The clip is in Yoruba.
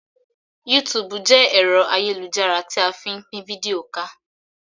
Yútùùbù jẹ́ ẹ̀rọ ayélujára tí a fí n pín fídíò ká